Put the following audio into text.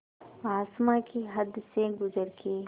आसमां की हद से गुज़र के